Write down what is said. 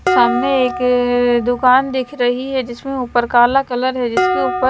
सामने एक अह दुकान दिख रही है जिसमें ऊपर काला कलर है जिसके ऊपर--